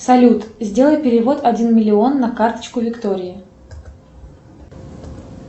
салют сделай перевод один миллион на карточку виктории